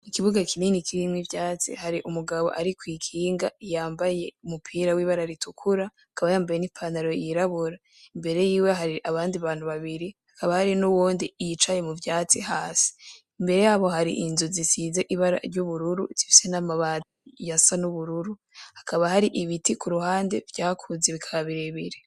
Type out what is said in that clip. Ikibuga kinini kirimwe ivyatsi hari umugabo, ariko'ikinga iyambaye umupira w'ibara ritukura akaba yambaye n'ipanaro yirabura imbere yiwe hari abandi bantu babiri hakaba hari n'uwondi iyicaye mu vyatsi hasi imbere yabo hari inzu zisize ibara ry'ubururu zifse n'amabani ya sa n'ubururu hakaba hari ibitikura hande vyakuze ibikabirebire.